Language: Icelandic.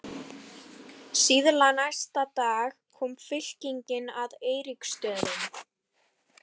Síðla næsta dag kom fylkingin að Eiríksstöðum.